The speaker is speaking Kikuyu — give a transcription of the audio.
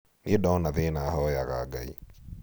niĩ ndona thĩna hoyaga ngai